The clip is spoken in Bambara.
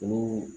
Olu